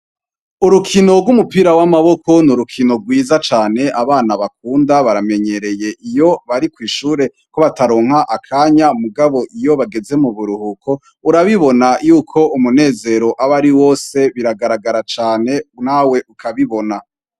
Urukino rw'umupira w'amaboko n'urukino rwiza cane abana bakunda baramenyereye iyo bari kw'ishure ko bataronka akanya mugabo iyo bageze mu buruhuko urabibona yuko umunezero abe ari wose biragaragara cane nawe ukabibona.